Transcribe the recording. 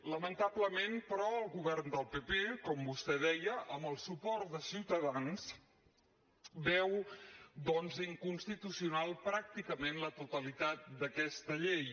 lamentablement però el govern del pp com vostè deia amb el suport de ciutadans veu doncs inconstitucional pràcticament la totalitat d’aquesta llei